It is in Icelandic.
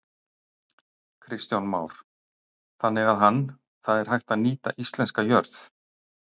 Kristján Már: Þannig að hann, það er hægt að nýta íslenska jörð?